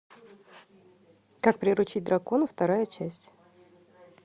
как приручить дракона вторая часть